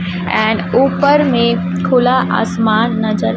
and ऊपर में खुला आसमान नजर-- -